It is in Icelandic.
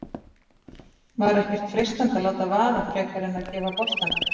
Var ekkert freistandi að láta vaða frekar en að gefa boltann?